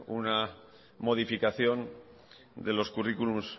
una modificación de los currículum